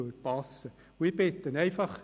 Ich bitte Sie: